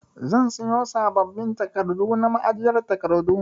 Zan siyo sabbabin takardu na ma'ajiyar takardu.